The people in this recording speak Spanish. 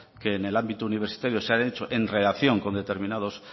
que en el ámbito universitario se han hecho en relación con determinados